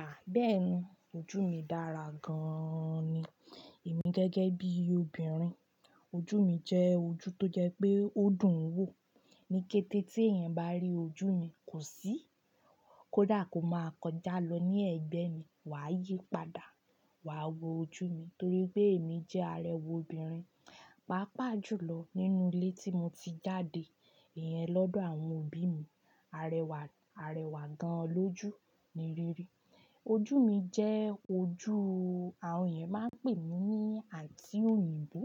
À, bẹ́ẹ̀ni ojú mi dára gan-an ni. Èmi gẹ́gẹ́ bí obìnrin ojú mi jẹ́ ojú tó jẹ pé ó dùn wò. Ni kété tí èèyàn bá rí ojú mi, kò sí kó dà kó máa kọjá lọ ní ẹ̀gbẹ́ mi, wà á yìí padà wà á wo ojú mi torí pé èmi jẹ́ arẹwà obìnrin. Pàápàá jùlọ nínú ilé tí mo ti jáde, ìyẹn lọ́dọ̀ àwọn òbí mi, arẹwà, arẹwà gan an ló jù ni rí rí. Ojú mi jẹ́ ojú, àwọn èèyàn máa ń pè mí ní Àǹtì òyìnbó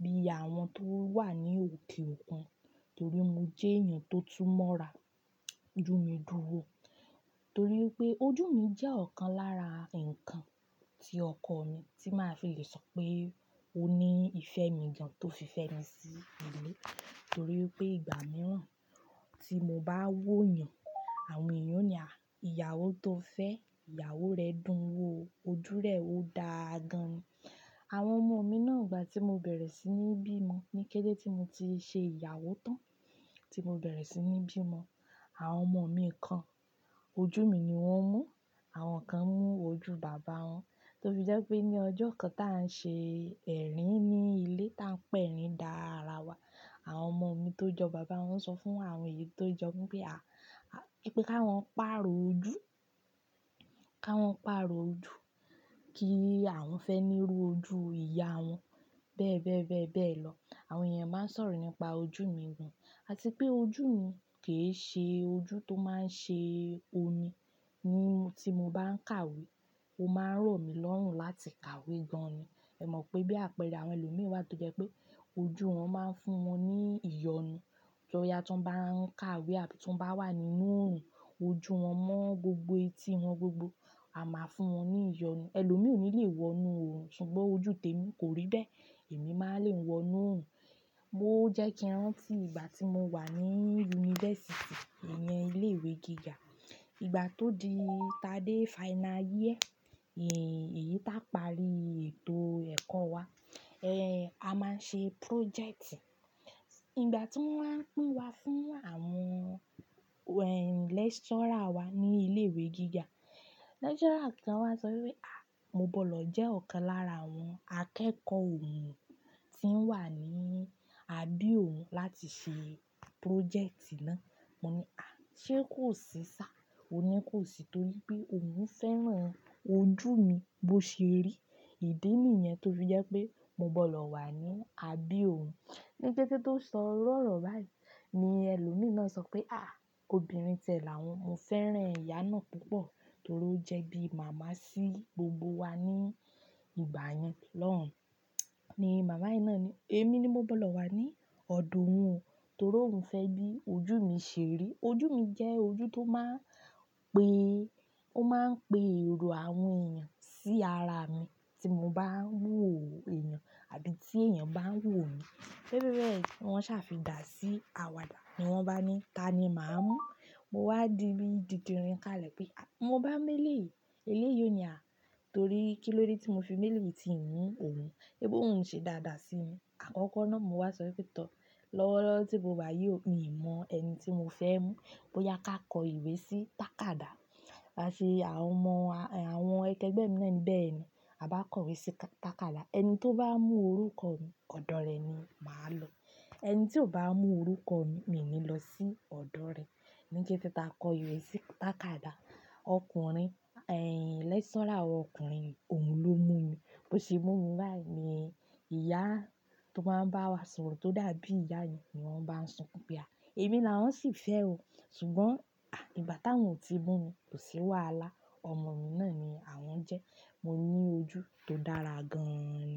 bí àwọn tó wà ní òkè òkun torí mo jẹ́ èèyàn tó túmọ̀ ara. Ojú mi dùn wò torí pé ojú mi jẹ́ ọ̀kan lára nǹkan tí ọkọ mi tí máa fi lè sọ pé ó ní ìfẹ́ mi gan tó fi fẹ́ni sí ilé torí pé ìgbà mìíràn tí mo bá wò èèyàn, àwọn èèyàn ó ní à, ìyàwó tó fẹ́ ìyàwó rẹ dùn wò ojú rẹ̀ ó dáa gan-an ni. Àwọn ọmọ mi náà ìgbà tí mo bẹ̀rẹ̀ sí ní bí mo ni kété tí mo ti ṣe ìyàwó tán tí mo bẹ̀rẹ̀ sí ní bí mo, àwọn ọmọ mi kan ojú mi ni wọ́n mú, àwọn kan mú ojú bàbá wọn. Tó fi jẹ́ pé ní ọjọ́ kan tá ń ṣe ẹ̀rín ní ilé tá ń pẹ̀rín dá ara wa, àwọn ọmọ mi tó jọ bàbá wọn sọ fún àwọn èyí tó jọ mi pé à, pé ka wọ́n pàrọ̀ ojú, ka wọ́n pàrọ̀ ojú kí àwọn fẹ́ ní rú ojú ìyá wọn bẹ́ẹ̀ bẹ́ẹ̀ bẹ́ẹ̀ bẹ́ẹ̀ lọ. Àwọn èèyàn máa ń sọ̀rọ̀ nípa ojú mi gan, àti pé ojú mi kì í ṣe ojú tó máa ń ṣe omi. Ní, tí mo bá ń kàwé, ó máa ń ràn mí lọ́rùn láti kàwé gan-an ni. Ẹ mọ̀ pé bí àpẹẹrẹ àwọn ẹlòmí wa tó jẹ́ pé ojú wọn máa ń fún wọn ní ìyọnu. To ọ̀yà tú n bá ń kàwé àbí tú n bá wà nínú òòrùn, ojú wọn mọ́ gbogbo etí wọn gbogbo, a máa fún wọn ní ìyọnu. Elòmí ò ní le wọ inú òòrùn ṣùgbọ́n ojú tèmi kò rí bẹ́ẹ̀, èmi máa le wọ inú òòrùn. Oo jẹ́ kíráǹtì ìgbà tí mo wà ní yunifásítì, èèyen ilé ìwé gíga. Ìgbà tó di ta dé final year, èyí tá pari ètò ẹ̀kọ́ wa, ẹ́ a máa ṣe projecti. Ìgbà tí wọ́n máa pín wa fún àwọn lecturer wa ní ilé ìwé gíga, lecturer kan wá sọ wí pé, à, mo gbọ́dọ̀ jẹ́ ọ̀kan lára àwọn akẹ́kọ̀ọ́ òun tí ń wà ní àbí òun láti ṣe projecti náà. Mo ní, à, ṣé kò sì sá? Ó ní kò sì torí pé òun fẹ́ràn ojú mi bó ṣe rí. Ìdí nìyẹn tó fi jẹ́ pé mo gbọ́dọ̀ wà ní àbí òun. Ni kété tó sọ iru ọ̀rọ̀ báyìí ni ẹlòmí na sọ pé, à, òbìnrin tẹ̀ làá won, mo fẹ́ràn ìyá náà púpọ̀ torí ó jẹ́ bí màmá sí gbogbo wa ní ìgbà yẹn lọ́hùn. Ni màmá yi ná ní, èmi ni mo gbọ́dọ̀ wà ní ọ̀dọ̀ òun torí òun fẹ́ bí ojú mi ṣe rí. Ojú mi jẹ́ ojú tó máa ń pe, ó máa ń pe èrò àwọn èèyàn sí ara mi tí mo bá ń wò èèyàn àbí tí èèyàn bá ń wò mi. Bẹ́ẹ̀ bẹ́ẹ̀ bẹ́ẹ̀, wọ́n ṣàfi dà sí àwàdà ní wọ́n bá ní ta ni màá mú. Mo wá di bi didirin ká lè pé, à, mo bá meleyii, eléyìí òní à torí kí ló dé tí mo fi méleyii ti n mú òun bí òun ṣe dáadáa sí mi. Àkọ́kọ́ náà mo wá sọ wípé, tọ́ lọ́wọ́lọ́wọ́ tí mo wá yí ò, mi ò mọ ẹni tí mo fẹ́ mú bóyá ká kọ ìwé sí tàkádà. A ṣe àwọn ọmọ, àwọn akẹgbẹ́ mi náà ní bẹ́ẹ̀ni, a bá kọ ìwé sí tàkádà ẹni tó bá mú orúkọ mi ọ̀dọ̀ rẹ̀ ni màá lọ. Ẹni tí ò bá mú orúkọ mi ní lọ sí ọ̀dọ̀ rẹ̀. Ni kété tá kọ ìwé sí tàkádà, ọkùnrin, lecturer ọkùnrin òun ló mú mi. Bó ṣe mú mi báyìí ni ìyá tó máa ń bá wa sọ̀rọ̀ tó dàbí ìyá yìí ni wọ́n bá ń sukun pe pé, à, èmi làá ń sì fẹ́ ò ṣùgbọ́n, à, ìgbà táwọn ò ti mú mi kò sì wà a lá. Ọmọ mi náà ni àwọn jẹ́. Mo ní ojú tó dára gan-an ni.